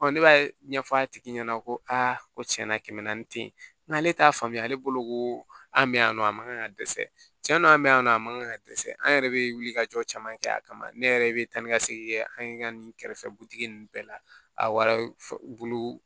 ne b'a ɲɛfɔ a tigi ɲɛna ko a ko tiɲɛ na kɛmɛ naani tɛ yen n'ale t'a faamuya ale bolo ko an bɛ yan nɔ a man kan ka dɛsɛ cɛn na an bɛ yan nɔ a man kan ka dɛsɛ an yɛrɛ bɛ wuli ka jɔ caman kɛ a kama ne yɛrɛ bɛ taa ni ka segin kɛ an ye nin kɛrɛfɛ ninnu bɛɛ la a warajuru